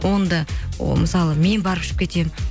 оны да о мысалы мен барып ішіп кетемін